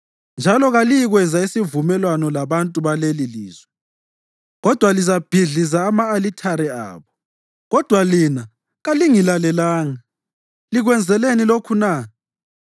njalo kaliyikwenza isivumelwano labantu balelilizwe, kodwa lizabhidliza ama-alithare abo.’ Kodwa lina kalingilalelanga. Likwenzeleni lokhu na?